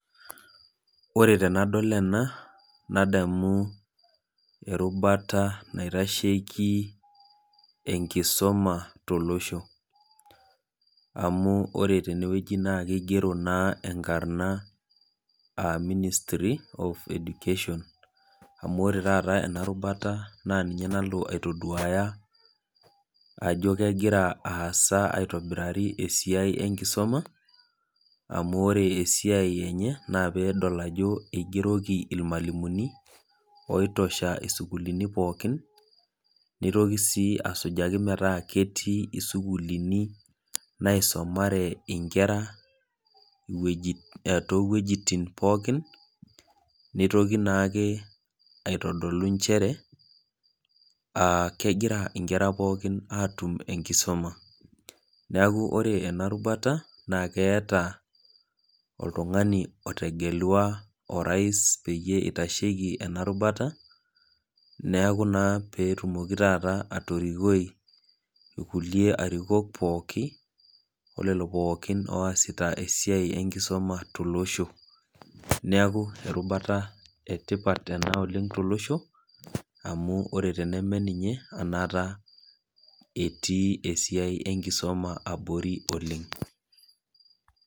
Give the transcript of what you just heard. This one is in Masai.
Ore tenadol ena nadamu erubata naitasheiki enkisuma tolosho amu ore tene wueji naa keigero enkarna Ministry of Education amu ore taata ena rubata naa ninye nalo aitoduaya ajo kegira aasa aitobirari esiai ee nkisuma amu ore esiai enye naa pee edol ajo eigeroki mwalimuni oitosha sukuulini pookin neitoki sii asujaki meetaa ketii isukuuluni naisomare nkerra too wuejitin pookin neitoki naake aitodolu nchere aah kegira nkerra kumok pookin atum enkisuma niaku ore ena rubata naa keeta oltungani otegelua orais peyie eitasheki ena rubata niaku naa pee etumoki taata atorikoi rkulie arikok pookin oo lelo pookin oasita esiai enkisuma too losho niaku erubata ee tipat ena oleng too losho amu teneme ninye enaata etii esiai ee nkisuma abori oleng.